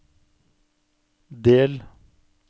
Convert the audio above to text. del